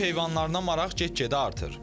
Ev heyvanlarına maraq get-gedə artır.